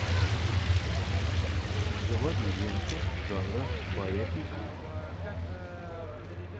заводи ленту жанра байопик